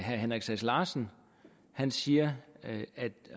herre henrik sass larsen siger